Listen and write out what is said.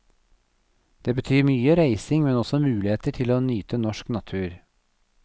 Det betyr mye reising, men også muligheter til å nyte norsk natur.